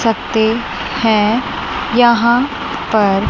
सकते है यहां पर।